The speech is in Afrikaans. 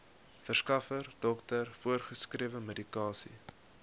verskaffer dokter voorgeskrewemedikasie